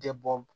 De bɔ